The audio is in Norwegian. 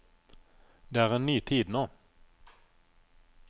Det er en ny tid nå.